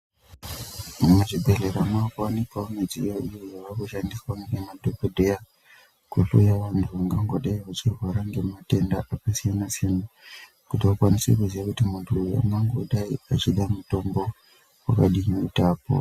Muzvibhedhlera munowanikwa midziyo iyo yava kushandiswa namadhokodheya kuhloya vantu vangangove vechirwara nematenda akasiyana-siyana kuti vakwanise kuzia kuti muntu uyu angangove achida mutombo wakadii kuti apore.